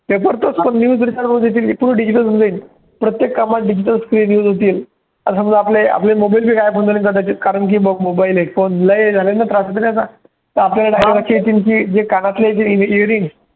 त्याचा आपले digital होऊन जाईल प्रत्येक कामात digital screen use होतील आता समजा, आपले आपले mobile बी गायब होऊन जातील कदाचित कारण की बघ mobile आहे पण लय झालाय ना त्रास होतो ना त्याचा जे कानातल्याच्या earring ते